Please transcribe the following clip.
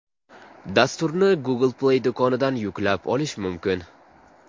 Dasturni Google Play do‘konidan yuklab olish mumkin.